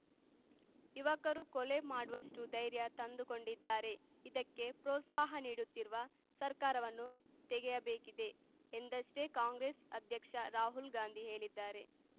ಯುವಕರು ಕೊಲೆ ಮಾಡುವಷ್ಟುಧೈರ್ಯ ತಂದುಕೊಂಡಿದ್ದಾರೆ ಇದಕ್ಕೆ ಪ್ರೋತ್ಸಾಹ ನೀಡುತ್ತಿರುವ ಸರ್ಕಾರವನ್ನು ತೆಗೆಯಬೇಕಿದೆ ಎಂದಷ್ಟೇ ಕಾಂಗ್ರೆಸ್‌ ಅಧ್ಯಕ್ಷ ರಾಹುಲ್‌ ಗಾಂಧಿ ಹೇಳಿದ್ದಾರೆ